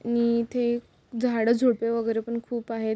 आणि इथे झाडं झुडपे वगैरे पण खूप आहेत.